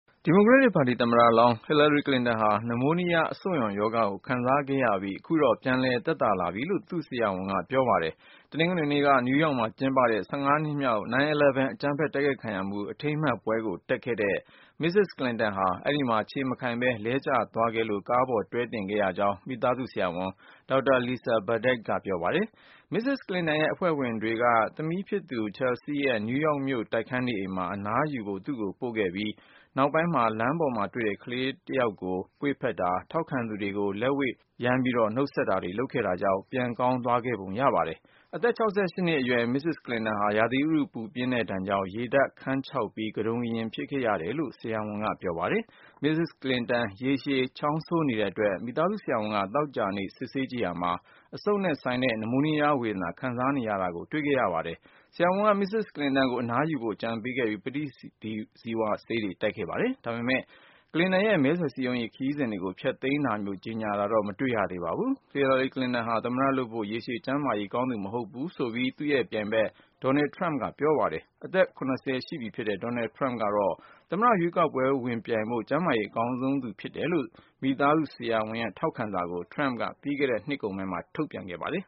ဒီမိုကရက်ပါတီသမ္မတလောင်း Hillary Clinton ဟာ နမိုးနီးယား အဆုတ်ရောင်ရောဂါကို ခံစားခဲ့ရပြီး ခုတော့ ပြန်လည်သက်သာလာပြီလို့ သူ့ဆရာဝန်ကပြောပါတယ်။ တနင်္ဂနွေနေ့က နယူးယောက်မှာကျင်းပတဲ့ ၁၅နှစ်မြောက် 9/11 အကြမ်းဖက်တိုက်ခိုက်ခံရမှု အထိမ်းမှတ်ပွဲကို တက်ခဲ့တဲ့ Mrs. Clinton ဟာ အဲဒီမှာခြေမခိုင်ပဲ လဲကျသွားခဲ့လို့ ကားပေါ်တွဲတင်ခဲ့ရကြောင်း မိသားစုဆရာဝန် ဒေါက်တာ Lisa Bardack က ပြောပါတယ်။ Mrs. Clinton ရဲ့အဖွဲ့ဝင်တွေက သမီးဖြစ်သူ Chelsea ရဲ့ နယူးယောက်မြို့ တိုက်ခန်းနေအိမ်မှာ အနားယူဖို့ သူ့ကိုပို့ပေးခဲ့ရပြီး၊ နောက်ပိုင်း လမ်းပေါ်မှာတွေ့တဲ့ ကလေးတယောကို ပွေ့ဖက်တာ၊ ထောက်ခံသူတွေကို လက်ဝှေ့ယမ်းနှုတ်ဆက်တာတွေ လုပ်ခဲ့တာကြောင့် ပြန်ကောင်း သွားခဲ့ပုံရပါတယ်။ အသက် ၆၈နှစ်အရွယ်Mrs. Clintonဟာ ရာသီဥတုပူပြင်းတဲ့ဒဏ်ကြောင့် ရေဓါတ်ခမ်းခြောက်ပြီး ကတုန်ကရင်ဖြစ်ခဲ့ ရတာလို့ သူ့ဆရာဝန်က ပြောပါတယ်။ Mrs. Clinton ရေရှည်ချောင်းဆိုးနေတဲ့အတွက် မိသားစုဆရာဝန်က သောကြာနေ့ စစ်ဆေးကြည့်ရာမှာ အဆုပ်နဲ့ဆိုင်တဲ့ နမိုးနီးယားဝေဒနာ ခံစားနေရတာကို တွေ့ခဲ့ရပါတယ်။ ဆရာဝန်ကMrs. Clinton ကို အနားယူဖို့ အကြံပေးခဲ့ပြီး ပဋိဇီဝဆေးတွေ တိုက်ခဲ့ပါတယ်။ ဒါပေမယ့် Clinton ရဲ့ မဲဆွယ်စည်းရုံးရေး ခရီးစဉ်တွေကို ဖျက်သိမ်းတာမျိုး ကြေညာတာတော့ မတွေ့ရ သေးပါဘူး။ Hillary Clinton ဟာ သမ္မတလုပ်ဖို့ ရေရှည်ကျန်းမာရေး ကောင်းသူမဟုတ်ဘူးဆိုပြီး သူ့ရဲ့ပြိုင်ဖက် Donald Trump က ပြောပါတယ်။ အသက် ၇၀ ရှိပြီ ဖြစ်တဲ့ Donald Trump ကတော့ သမ္မတရွေးကောက်ပွဲဝင်ပြိုင်ဖို့ ကျန်းမာရေး အကောင်းဆုံးသူဖြစ်တယ်လို့ မိသားစုဆရာဝန်ရဲ့ထောက်ခံစာကို Trump က ပြီးခဲ့တဲ့ နှစ်ကုန်ပိုင်းမှာ ထုတ်ပြန်ခဲ့ပါတယ်